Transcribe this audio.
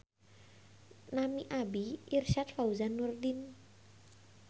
Nami abdi Irsyad Fauzan Nurdin.